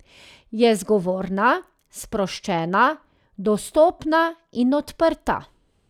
Je zgovorna, sproščena, dostopna in odprta.